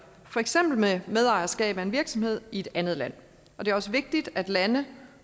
for eksempel medejerskab af en virksomhed i et andet land det er også vigtigt at lande